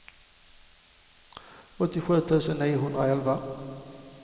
åttiosju tusen niohundraelva